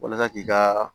Walasa k'i ka